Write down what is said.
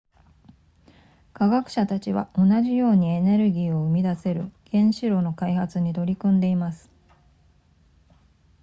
科学者たちは同じようにエネルギーを生み出せる原子炉の開発に取り組んでいます